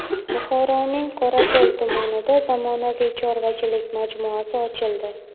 Buxoroning Qorako‘l tumanida zamonaviy chorvachilik majmuasi ochildi.